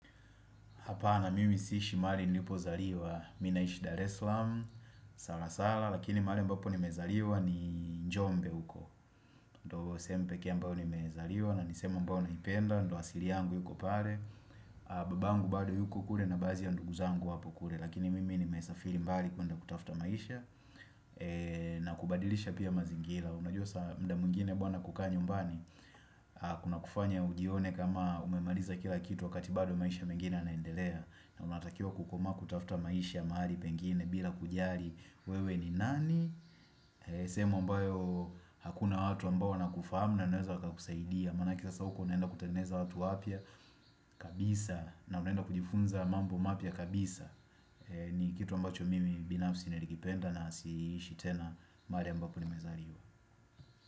Hapana, mimi siishi mahali nilipo zaliwa, mimi naisha Dar es Salaam, Salasala, lakini mahali ambapo nimezaliwa ni Njombe huko. Ndiyo sehemu pekee ambayo nimezaliwa na nisehemu ambao wananipenda, ndiyo asili yangu yuko pale. Baba yangu bado yuko kule na baadhi ya ndugu zangu wapokule. Lakini mimi nimesifiri mbali kuenda kutafuta maisha na kubadilisha pia mazingira. Unajua muda mwingine bwana kukaa nyumbani kuna kufanya ujione kama umemaliza kila kitu wakati bado maisha mengine yanaendelea na unatakiwa kukomaa kutafuta maisha mahali pengine bila kujali wewe ni nani. Sehemu ambayo hakuna watu ambao wana kufahamu na wanaweza waka kusaidia maana yake sasa huko unaenda kutengeza watu wapya kabisa na unaenda kujifunza mambo mapya kabisa. Ni kitu ambacho mimi binafsi nilikipenda na siishitena mahaki ambapo ni mezaliwa.